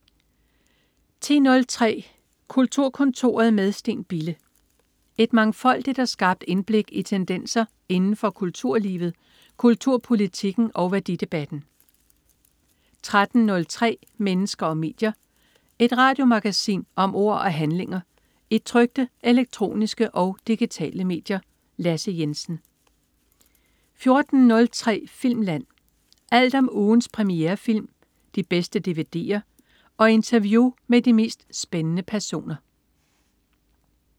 10.03 Kulturkontoret med Steen Bille. Et mangfoldigt og skarpt indblik i tendenser inden for kulturlivet, kulturpolitikken og værdidebatten 13.03 Mennesker og medier. Et radiomagasin om ord og handlinger i trykte, elektroniske og digitale medier. Lasse Jensen 14.03 Filmland. Alt om ugens premierefilm, de bedste dvd'er og interview med de mest spændende personer